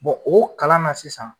Bon o kalan na sisan